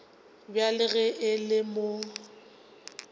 bjale ge e le mo